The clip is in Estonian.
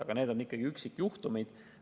Aga need on ikkagi üksikjuhtumid.